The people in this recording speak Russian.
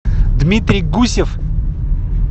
дмитрий гусев